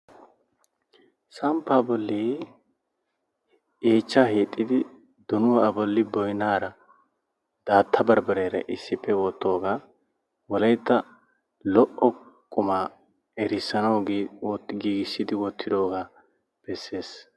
samppaa bolli yeechchaa hiixxidi donuwaa a bolli boynnaara daatta barbbariyaara issippe wotoogaa wolaytta lo''o qumma errisanawu oottidi giigissidi wottidoogaa bessees.